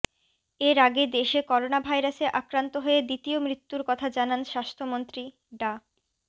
এর আগে দেশে করোনাভাইরাসে আক্রান্ত হয়ে দ্বিতীয় মৃত্যুর কথা জানান স্বাস্থ্যমন্ত্রী ডা